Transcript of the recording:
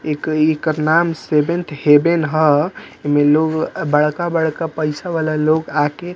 एकर इकर नाम seventh heaven ह एमें लोग बड़का-बड़का पैसा वाला लोग आके --